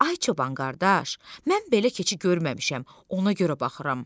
Ay çoban qardaş, mən belə keçi görməmişəm, ona görə baxıram.